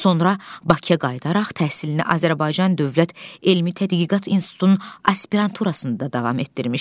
Sonra Bakıya qayıdaraq təhsilini Azərbaycan Dövlət Elmi Tədqiqat İnstitutunun aspiranturasında davam etdirmişdi.